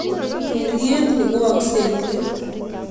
urerit ni koakse eng let